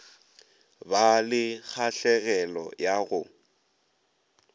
ba le kgahlegelo ya go